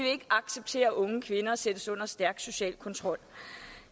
acceptere at unge kvinder sættes under stærk social kontrol